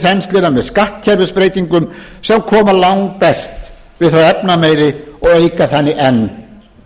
þensluna með skattkerfisbreytingum sem koma langbest við þá efnameiri og auka þannig enn